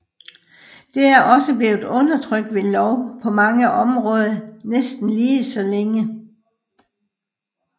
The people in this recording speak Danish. Det er også blevet undertrykt ved lov på mange områder næsten lige så længe